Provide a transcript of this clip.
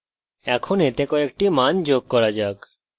এখন এতে কয়েকটি মান যোগ করা যাক